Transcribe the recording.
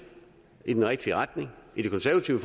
i den rigtige retning i det konservative